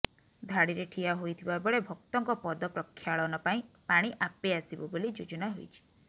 ଧାଡ଼ିରେ ଠିଆ ହୋଇଥିବା ବେଳେ ଭକ୍ତଙ୍କ ପଦ ପ୍ରକ୍ଷାଳନ ପାଇଁ ପାଣି ଆପେ ଆସିବ ବୋଲି ଯୋଜନା ହୋଇଛି